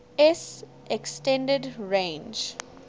s extended range